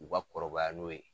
U ka kɔrɔbaya n'o ye.